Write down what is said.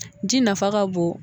Ji nafa ka bon